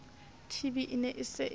tb e ne e sa